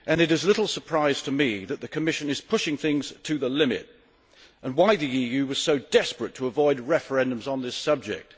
it is little surprise to me that the Commission is pushing things to the limit and it is clear why the EU was so desperate to avoid referendums on this subject.